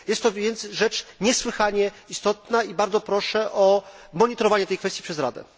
Jest to więc rzecz niesłychanie istotna i bardzo proszę o monitorowanie tej kwestii przez Radę.